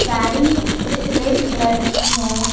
गाड़ी एक red colour की है।